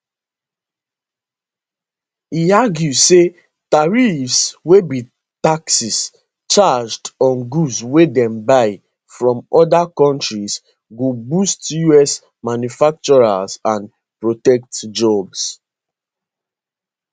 e argue say tariffs wey be taxes charged on goods wey dem buy from oda kontris go boost us manufacturers and protect jobs